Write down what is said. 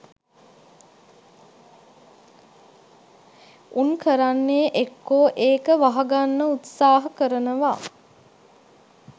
උන් කරන්නේ එක්කෝ ඒක වහ ගන්න උත්සාහ කරනවා